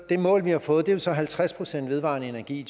det mål vi har fået er så halvtreds procent vedvarende energi i